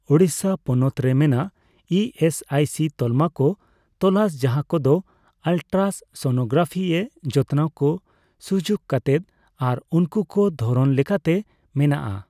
ᱳᱲᱤᱥᱥᱟ ᱯᱚᱱᱚᱛ ᱨᱮ ᱢᱮᱱᱟᱜ ᱤᱹᱮᱥᱹᱟᱭᱹᱥᱤ ᱛᱟᱞᱢᱟ ᱠᱚ ᱛᱚᱞᱟᱥ ᱡᱟᱦᱟᱸ ᱠᱚᱫᱚ ᱟᱞᱴᱨᱟᱥ ᱱᱚᱱᱳᱜᱨᱟᱯᱷᱤ ᱮ ᱡᱚᱛᱱᱟᱣ ᱠᱚ ᱥᱩᱡᱩᱠ ᱠᱟᱛᱮᱫ ᱟᱨ ᱩᱱᱠᱩ ᱠᱚ ᱫᱷᱚᱨᱚᱱ ᱞᱮᱠᱟᱛᱮ ᱢᱮᱱᱟᱜᱼᱟ ᱾